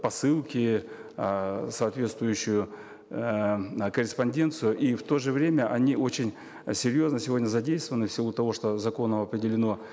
посылки э соответствующую эээ корреспонденцию и в то же время они очень серьезно сегодня задействованы в силу того что законом определено